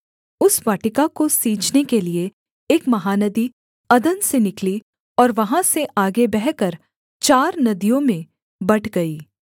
उस वाटिका को सींचने के लिये एक महानदी अदन से निकली और वहाँ से आगे बहकर चार नदियों में बँट गई